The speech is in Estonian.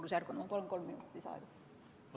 Ma palun kuni kolm minutit lisaaega!